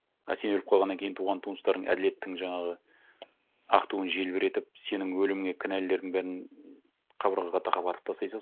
а сен өліп қалғаннан кейін туған туыстарың әділеттің жаңағы ақ туын желбіретіп сенің өліміңе кінәлілердің бәрін қабырғаға тақап атып тастай салсын